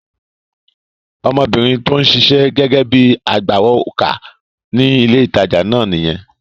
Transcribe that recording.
Ọmọbìnrin tí ó ń ṣiṣẹ́ gẹ́gẹ́ bíi agbawókà ní ilé ìtajà náà nìyẹn.